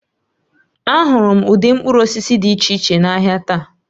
Ahụrụ m ụdị mkpụrụ osisi dị iche iche n'ahịa taa